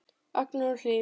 Agnar og Hlíf.